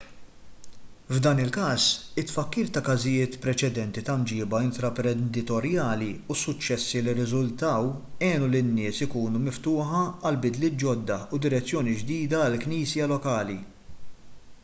f'dan il-każ it-tfakkir ta' każijiet preċedenti ta' mġieba intraprenditorjali u s-suċċessi li rriżultaw għenu lin-nies ikunu miftuħa għal bidliet ġodda u direzzjoni ġdida għall-knisja lokali